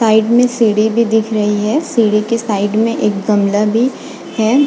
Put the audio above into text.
Side में सीढ़ी भी दिख रही है सीढ़ी के साइड मै एक गमला भी है।